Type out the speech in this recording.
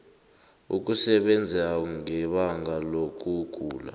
ukusebenza ngebanga lokugula